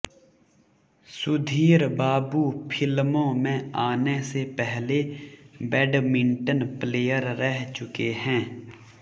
सुधीर बाबू फिल्मों में आने से पहले बैडमिंटन प्लेयर रह चुके हैं